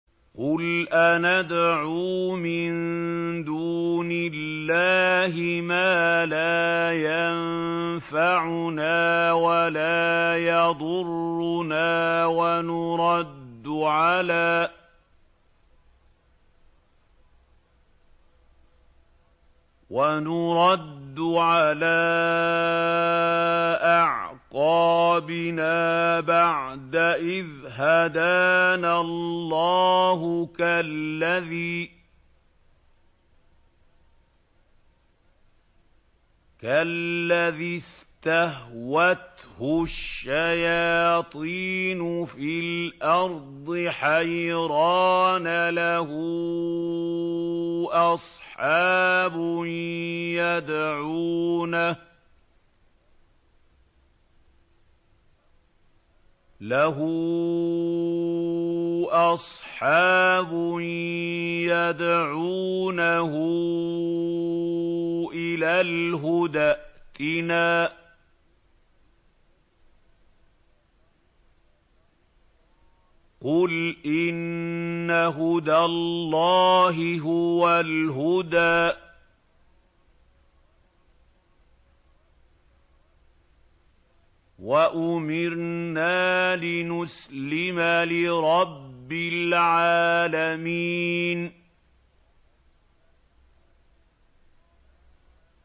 قُلْ أَنَدْعُو مِن دُونِ اللَّهِ مَا لَا يَنفَعُنَا وَلَا يَضُرُّنَا وَنُرَدُّ عَلَىٰ أَعْقَابِنَا بَعْدَ إِذْ هَدَانَا اللَّهُ كَالَّذِي اسْتَهْوَتْهُ الشَّيَاطِينُ فِي الْأَرْضِ حَيْرَانَ لَهُ أَصْحَابٌ يَدْعُونَهُ إِلَى الْهُدَى ائْتِنَا ۗ قُلْ إِنَّ هُدَى اللَّهِ هُوَ الْهُدَىٰ ۖ وَأُمِرْنَا لِنُسْلِمَ لِرَبِّ الْعَالَمِينَ